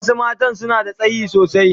Wasu mata suna da tsayi sosai.